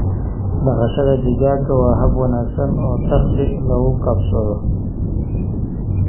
Dhaqashada digaaga waa hab wanaagsan oo dakhli lagu kasbado.